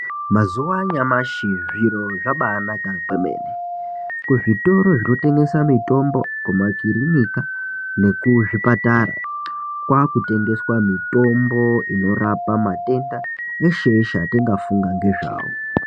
Mazuva anyamashi zviro zvabanaka kwemene kuzvitoro zvinotengesa mitombo kumakiriniki nekuzvipatara kwakutengeswa mitombo inorapa matenda eshe eshe atinga funga nezvawo.